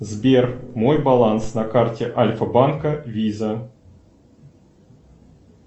сбер мой баланс на карте альфа банка виза